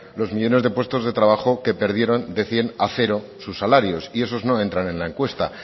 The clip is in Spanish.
los millónes de puestos de trabajo que perdieron de cien a cero sus salarios y esos no entran en la encuesta